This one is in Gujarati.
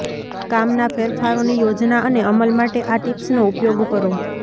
કામના ફેરફારોની યોજના અને અમલ માટે આ ટિપ્સનો ઉપયોગ કરો